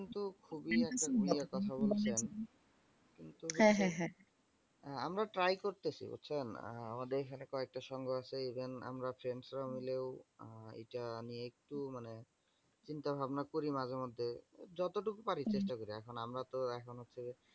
আমরা try করতেছি বুঝসেন? আহ আমাদের এখানে কয়েকটা সংঘ আছে even আমরা friends রা মিলেও আহ এটা আমি একটু মানে চিন্তা ভাবনা করি মাঝে মধ্যে, যত টুক পারি চেষ্টা করি। এখন আমরা তো এখন হচ্ছে